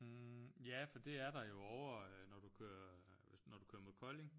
Hm ja for det er der jo ovre øh når du kører hvis når du kører mod Kolding